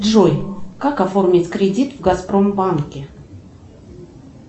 джой как оформить кредит в газпромбанке